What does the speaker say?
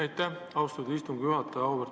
Aitäh, austatud istungi juhataja!